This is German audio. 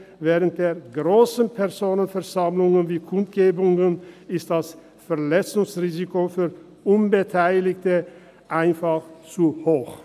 Während grosser Personenversammlungen wie Kundgebungen ist das Verletzungsrisiko für Unbeteiligte einfach zu hoch.